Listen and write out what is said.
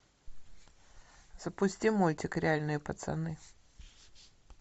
запусти мультик реальные пацаны